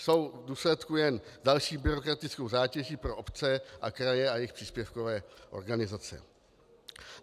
Jsou v důsledku jen další byrokratickou zátěží pro obce a kraje a jejich příspěvkové organizace.